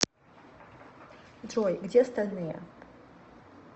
джой где остальные